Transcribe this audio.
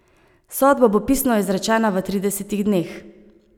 Sodba bo pisno izrečena v tridesetih dneh.